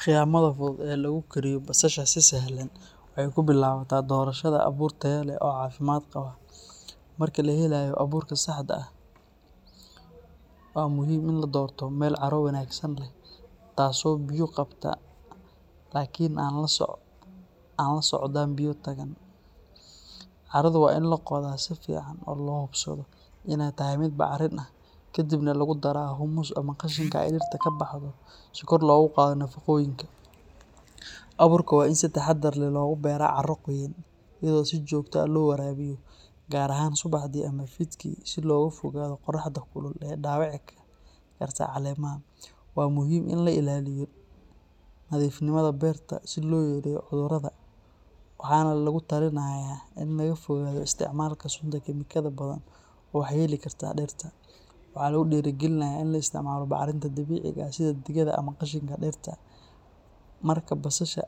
Khiyamada fudud ee lagu koriyo basasha si sahlan waxay ku bilaabataa doorashada abuur tayo leh oo caafimaad qaba. Marka la helayo abuurka saxda ah, waxaa muhiim ah in la doorto meel carro wanaagsan leh, taasoo biyo qabata laakiin aan la socdaan biyo taagan. Carradu waa in la qoda si fiican oo loo hubsado inay tahay mid bacrin ah, kadibna lagu daraa humus ama qashinka ay dhirta ka baxdo si kor loogu qaado nafaqooyinka. Abuurka waa in si taxadar leh loogu beeraa carro qoyan, iyadoo si joogto ah loo waraabiyo, gaar ahaan subaxdii ama fiidkii si looga fogaado qorraxda kulul ee dhaawici karta caleemaha. Waa muhiim in la ilaaliyo nadiifnimada beerta si loo yareeyo cudurrada, waxaana lagu talinayaa in la fogaado isticmaalka sunta kiimikada badan oo waxyeeli karta dhirta. Waxaa lagu dhiirrigelinayaa in la isticmaalo bacriminta dabiiciga ah sida digada ama qashinka dhirta. Marka basasha